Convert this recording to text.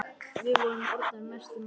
Við vorum orðnar mestu mátar.